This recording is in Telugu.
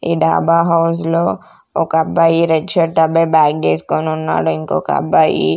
ఈ డాబా హౌస్ లో ఒక అబ్బాయి రెడ్ షర్ట్ అబ్బాయి బ్యాగ్ వేసుకొని ఉన్నాడు ఇంకొక అబ్బాయి.